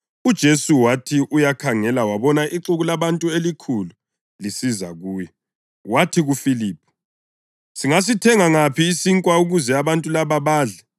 UJesu wathi uyakhangela wabona ixuku labantu elikhulu lisiza kuye, wathi kuFiliphu, “Singasithenga ngaphi isinkwa ukuze abantu laba badle?”